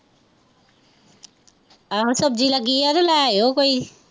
ਆਹੋ ਸਬਜ਼ੀ ਲੱਗੀ ਐ ਤੇ ਲੈ ਆਈਓ ਕੋਈ